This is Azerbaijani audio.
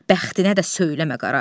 bəxtinə də söyləmə qara.